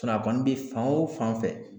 a kɔni bɛ fan o fan fɛ.